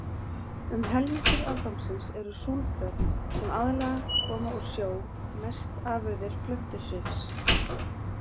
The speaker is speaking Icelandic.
Um helmingur afgangsins eru súlföt, sem aðallega koma úr sjó, mest afurðir plöntusvifs.